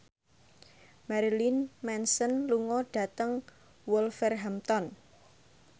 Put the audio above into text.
Marilyn Manson lunga dhateng Wolverhampton